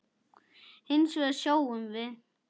Hins vegar sjáum við